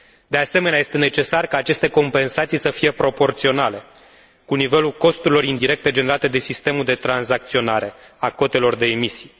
De asemenea, este necesar ca aceste compensații să fie proporționale cu nivelul costurilor indirecte generate de sistemul de tranzacționare a cotelor de emisii.